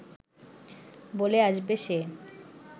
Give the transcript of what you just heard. বলে আসবে সে